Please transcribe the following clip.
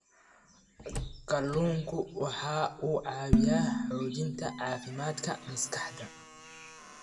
Kalluunku waxa uu caawiyaa xoojinta caafimaadka maskaxda.